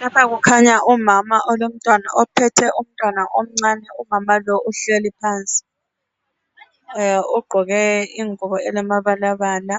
Lapha kukhanya umama olomntwana ophethe umntwana omncane umama lo uhleli phansi ugqoke ingubo elamabala bala